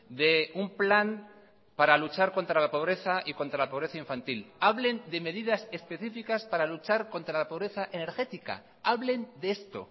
de un plan para luchar contra la pobreza y contra la pobreza infantil hablen de medidas especificas para luchar contra la pobreza energética hablen de esto